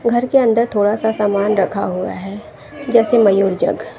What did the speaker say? घर के अंदर थोड़ा सा सामान रखा हुआ है जैसे मयूर जग ।